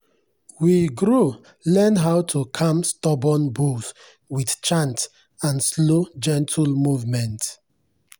we grow learn how to calm stubborn bulls with chant and slow gentle movement.